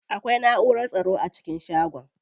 Akwai naʼurar tsaro a cikin shagon.